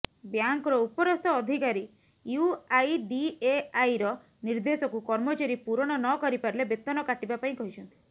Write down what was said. ବ୍ୟାଙ୍କର ଉପରସ୍ଥ ଅଧିକାରୀ ୟୁଆଇଡିଏଆଇର ନିର୍ଦ୍ଧେଶକୁ କର୍ମଚାରୀ ପୂରଣ ନ କରିପାରିଲେ ବେତନ କାଟିବା ପାଇଁ କହିଛନ୍ତି